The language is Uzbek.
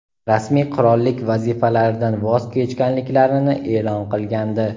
rasmiy qirollik vazifalaridan voz kechganliklarini e’lon qilgandi.